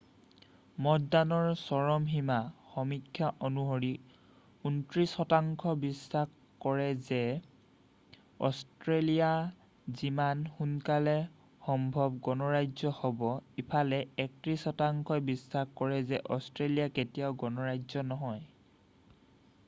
মতদানৰ চৰম সীমা সমীক্ষা অনুসৰি 29 শতাংশ বিশ্বাস কৰে যে অষ্ট্ৰেলিয়া যিমান সোনকালে সম্ভৱ গণৰাজ্য হ'ব ইফালে 31 শতাংশই বিশ্বাস কৰে কৰে অষ্ট্ৰেলিয়া কেতিয়াও গণৰাজ্য নহয়